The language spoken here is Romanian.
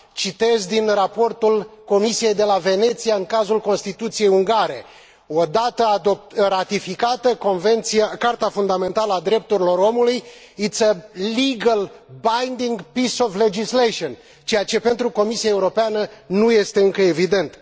Citez din raportul Comisiei de la Veneția în cazul Constituției ungare odată ratificată, Carta fundamentală a drepturilor omului is a legal, binding piece of legislation, ceea ce pentru Comisia Europeană nu este încă evident.